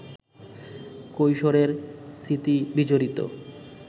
কৈশোরের স্মৃতি বিজড়িত